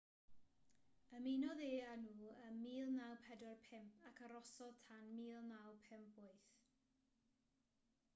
ymunodd e â nhw ym 1945 ac arhosodd tan 1958